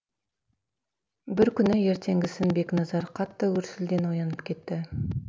бір күні ертеңгісін бекназар қатты гүрсілден оянып кетті